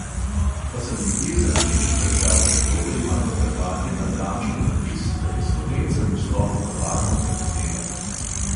Pa sem nekje za nameček prebral še to, da imajo hrvatje na braču napis, da je slovencem vstop v kavarno prepovedan.